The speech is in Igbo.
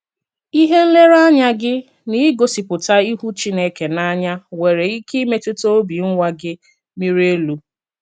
Íhè nlerè-ànyà gị n’ígòsìpùtà ìhù Chínèkè n’ànỳà nwerè íké ìmètùtà òbì nwà gị mírì élù.